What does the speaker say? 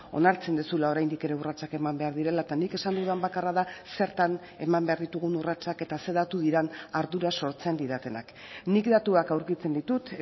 onartzen duzula oraindik ere urratsak eman behar direla eta nik esan dudan bakarra da zertan eman behar ditugun urratsak eta ze datu diren ardura sortzen didatenak nik datuak aurkitzen ditut